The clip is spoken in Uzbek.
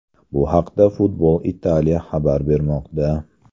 Bu haqida Football Italia xabar bermoqda .